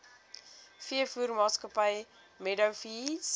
veevoermaatskappy meadow feeds